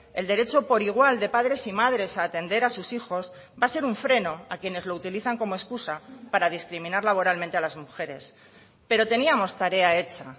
el derecho por igual de padres y madres a atender a sus hijos va a ser un freno a quienes lo utilizan como excusa para discriminar laboralmente a las mujeres pero teníamos tarea hecha